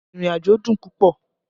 Ìrìnàjò dùn púpọ̀